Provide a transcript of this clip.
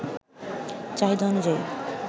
চাহিদা অনুযায়ী